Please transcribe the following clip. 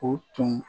O tun